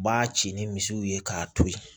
B'a ci ni misiw ye k'a to ye